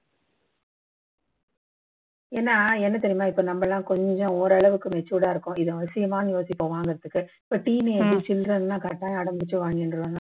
ஏன்னா என்ன தெரியுமா இப்போ நம்ம எல்லாம் கொஞ்சம் ஓரளவுக்கு matured ஆ இருக்கோம் இது அவசியமான்னு யோசிப்போம் வாங்குறதுக்கு இப்போ teenage, children னா correct ஆ அடம் புடிச்சு வாங்கிடுவாங்க